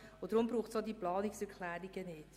Deshalb braucht es solche Planungserklärungen nicht.